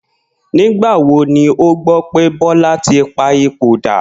Nígbà wo ni o gbó̩ pe Bó̩la̩ ti pa ipò dà?